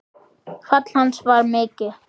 Og fall hans var mikið.